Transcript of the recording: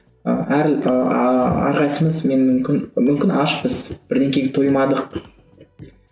ы әр ааа әрқайсымыз мен мүмкін мүмкін ашпыз тоймадық